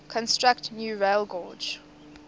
construct new railgauge